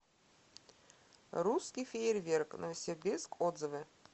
русский фейерверк новосибирск отзывы